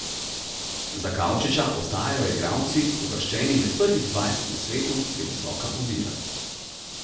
Za Kavčiča ostajajo igralci, uvrščeni med prvih dvajset na svetu, previsoka ovira.